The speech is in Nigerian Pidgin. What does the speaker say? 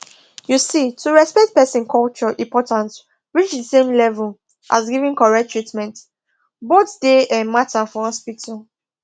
you see to respect person culture important reach the same level as giving correct treatment both dey um matter for hospital